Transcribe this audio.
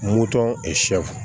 Moto sɛfu